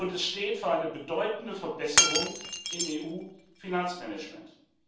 Es steht für eine bedeutende Verbesserung im EU Finanzmanagement.